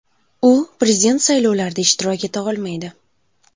U prezident saylovlarida ishtirok eta olmaydi.